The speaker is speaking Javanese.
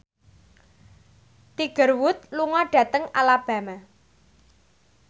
Tiger Wood lunga dhateng Alabama